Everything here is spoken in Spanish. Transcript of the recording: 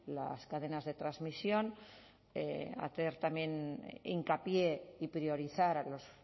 las cadenas de transmisión hacer también hincapié y priorizar a los